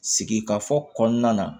Sigikafɔ kɔnɔna na